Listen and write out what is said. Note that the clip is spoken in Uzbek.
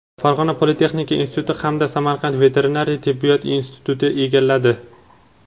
Farg‘ona politexnika instituti hamda Samarqand veterinariya tibbiyot instituti egalladi.